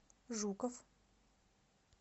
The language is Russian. жуков